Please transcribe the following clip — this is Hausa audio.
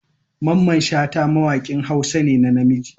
Mamman shata mawakin hausa ne na namiji.